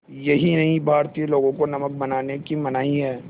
यही नहीं भारतीय लोगों को नमक बनाने की मनाही है